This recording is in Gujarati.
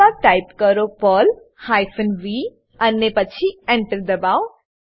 ત્યારબાદ ટાઈપ કરો પર્લ હાયફેન વી અને પછી ENTER દબાવો